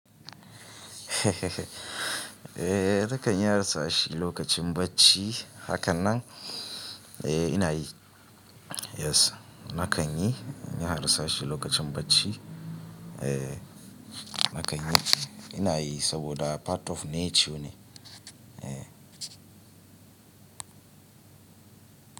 Eh, na kan yi harsashi lokacin bacci. Hakanan, eh ina yi. Yes na kan yi, ina harsashi lokacin bacci. Eh na kan yi. Ina yi saboda part of nature ne. Eh.